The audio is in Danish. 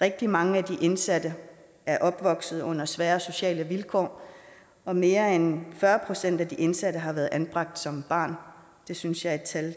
rigtig mange af de indsatte er opvokset under svære sociale vilkår og mere end fyrre procent af de indsatte har været anbragt som barn det synes jeg er et tal